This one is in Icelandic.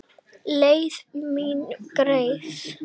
Leið mín greið.